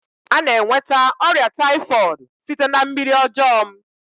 Ana enweta ọrịa taifọdu site na mmiri ọjọọ m